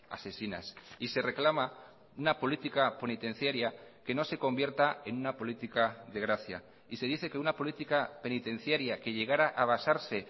asesinas y se reclama una política penitenciaria que no se convierta en una política de gracia y se dice que una política penitenciaria que llegara a basarse